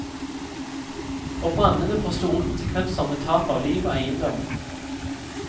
Og brannene får store konsekvenser med tap av liv og eiendom.